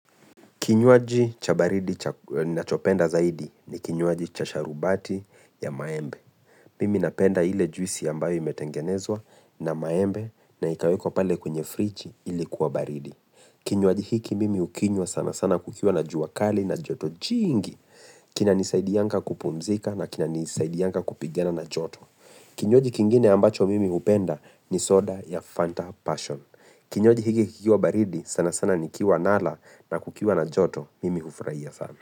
Kinywaji cha baridi ninachopenda zaidi ni kinywaji cha sharubati ya maembe. Mimi napenda ile juisi ambayo imetengenezwa na maembe na ikawekwa pale kwenye friji ili kuwa baridi. Kinywaji hiki mimi hukinywa sana sana kukiwa na jua kali na joto jingi. Kinanisaidianga kupumzika na kinanisaidianga kupigana na joto. Kinywaji kingine ambacho mimi hupenda ni soda ya Fanta passion. Kinywaji hiki kikiwa baridi sana sana nikiwa nala na kukiwa na joto. Mimi hufurahia sana.